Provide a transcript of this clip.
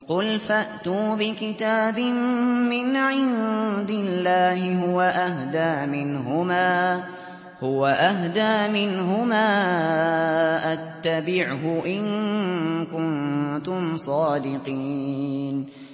قُلْ فَأْتُوا بِكِتَابٍ مِّنْ عِندِ اللَّهِ هُوَ أَهْدَىٰ مِنْهُمَا أَتَّبِعْهُ إِن كُنتُمْ صَادِقِينَ